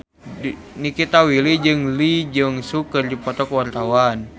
Nikita Willy jeung Lee Jeong Suk keur dipoto ku wartawan